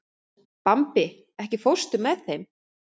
Bambi, ekki fórstu með þeim?